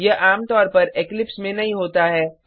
यह आमतौर पर इक्लिप्स में नहीं होता है